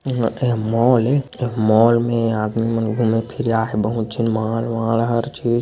यहाँ ए मॉल ए ए मॉल मे आदमी मन घूमे फिर आहे है बहुत झन मॉल वाल हर चीज--